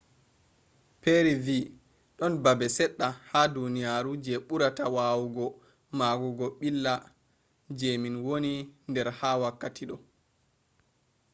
perry vi ‘don babe sedda ha duniyaru je burata wawugo magugo billa je min woni der ha wakkati do.